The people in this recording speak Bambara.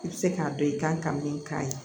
I bɛ se k'a dɔn i kan ka min k'a ye